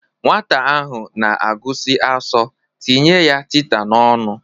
Nwata ahụ na-agụsi asọ, tinye ya tita n'ọnụ!